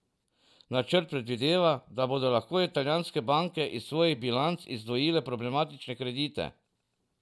Načrt predvideva, da bodo lahko italijanske banke iz svojih bilanc izdvojile problematične kredite.